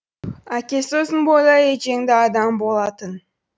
әкесі ұзын бойлы етжеңді адам болатын